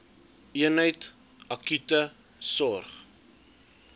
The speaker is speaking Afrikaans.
eenheid akute sorg